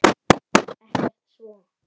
Ekkert svo.